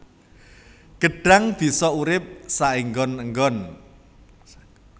Gêdhang bisa urip saênggon ênggon